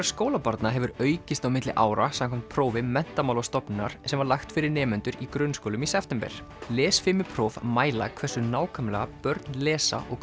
skólabarna hefur aukist á milli ára samkvæmt prófi Menntamálastofnunar sem var lagt fyrir nemendur í grunnskólum í september lesfimipróf mæla hversu nákvæmlega börn lesa og